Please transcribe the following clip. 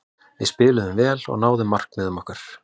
Við spiluðum vel og náðum markmiðum okkar.